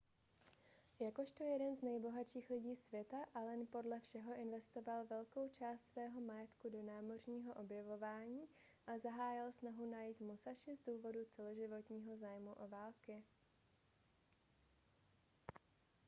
jakožto jeden z nejbohatších lidí světa allen podle všeho investoval velkou část svého majetku do námořního objevování a zahájil snahu najít musashi z důvodu celoživotního zájmu o války